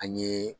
An ye